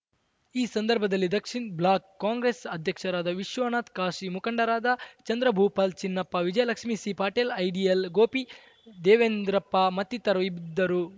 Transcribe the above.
ಈ ಸಂದರ್ಭದಲ್ಲಿ ದಕ್ಷಿಣ ಬ್ಲಾಕ್‌ ಕಾಂಗ್ರೆಸ್‌ ಅಧ್ಯಕ್ಷರಾದ ವಿಶ್ವನಾಥ ಕಾಶಿ ಮುಖಂಡರಾದ ಚಂದ್ರಭೂಪಾಲ್‌ ಚಿನ್ನಪ್ಪ ವಿಜಯಲಕ್ಷ್ಮೀ ಸಿ ಪಾಟೀಲ್‌ ಐಡಿಯಲ್‌ ಗೋಪಿ ದೇವೇಂದ್ರಪ್ಪ ಮತ್ತಿತರರು ಇದ್ದರು